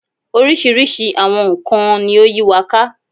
Oríṣiríṣi àwọn nkàn-an ni ó yí wa ká